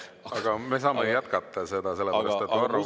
Aga me saame jätkata, sellepärast et Varro Vooglaiul on täpsustav küsimus.